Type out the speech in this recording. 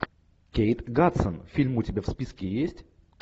кейт хадсон фильм у тебя в списке есть